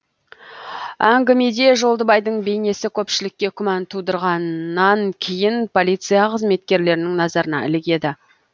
әңгімеде жолдыбайдың бейнесі көпшілікке күмән тудырғаннан кейін полиция қызметкерлерінің назарына ілігеді